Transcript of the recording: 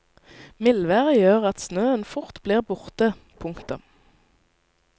Mildværet gjør at snøen fort blir borte. punktum